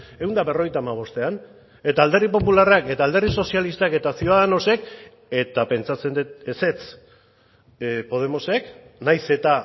ehun eta berrogeita hamabostean eta alderdi popularrak eta alderdi sozialistak eta ciudadanosek eta pentsatzen dut ezetz podemosek nahiz eta